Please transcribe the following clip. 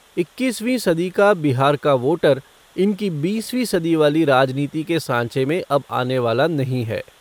इक्कीसवीं सदी का बिहार का वोटर इनकी बीसवीं सदी वाली राजनीति के सांचे में अब आने वाला नही है।